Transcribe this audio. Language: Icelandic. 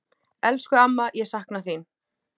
Elsku amma, ég sakna þín.